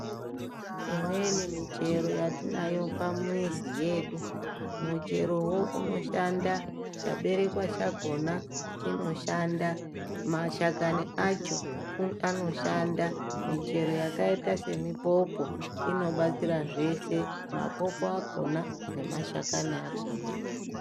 Imweni michero yatinayo pamizi yedu mucherowo unoshanda chaberekwa chakhona chinoshanda mashakani acho anoshanda michero yakaita semuphopho inobatsira zveshe maphopho akhona nemashakani akhona.